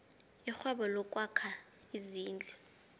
irhwebo lokwakha izindlu